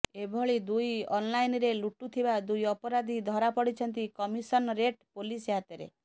ଏହିଭଳି ଦୁଇ ଅନଲାଇନରେ ଲୁଟୁଥିବା ଦୁଇ ଅପରାଧି ଧରା ପଡିଛନ୍ତି କମିଶନରେଟ ପୋଲିସ ହାତରେ